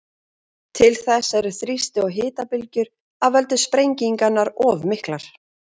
Til þess eru þrýsti- og hitabylgjur af völdum sprengingarinnar of miklar.